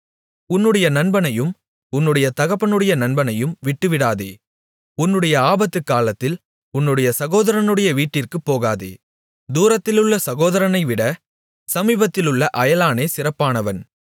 உன்னுடைய நண்பனையும் உன்னுடைய தகப்பனுடைய நண்பனையும் விட்டுவிடாதே உன்னுடைய ஆபத்துக்காலத்தில் உன்னுடைய சகோதரனுடைய வீட்டிற்குப் போகாதே தூரத்திலுள்ள சகோதரனைவிட சமீபத்திலுள்ள அயலானே சிறப்பானவன்